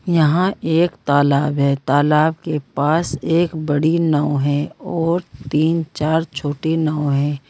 यहां एक तालाब है। तालाब के पास एक बड़ी नाव है और तीन चार छोटी नाव है।